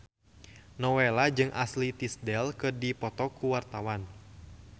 Nowela jeung Ashley Tisdale keur dipoto ku wartawan